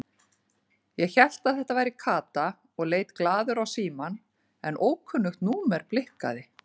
Ég hélt að þetta væri Kata og leit glaður á símann en ókunnugt númer blikkaði.